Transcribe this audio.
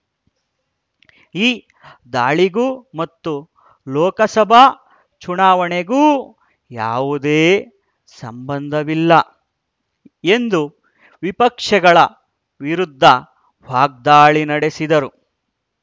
ಈ ದಾಳಿಗೂ ಮತ್ತು ಲೋಕಸಭಾ ಚುನಾವಣೆಗೂ ಯಾವುದೇ ಸಂಬಂಧವಿಲ್ಲ ಎಂದು ವಿಪಕ್ಷಗಳ ವಿರುದ್ಧ ವಾಗ್ದಾಳಿ ನಡೆಸಿದರು